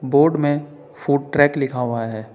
Board में food truck लिखा हुआ है।